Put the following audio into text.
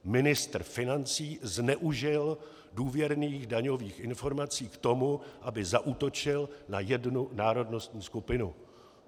Ministr financí zneužil důvěrných daňových informací k tomu, aby zaútočil na jednu národnostní skupinu.